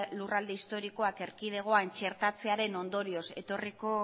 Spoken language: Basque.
lurralde historikoa erkidegoan txertatzearen ondorioz etorriko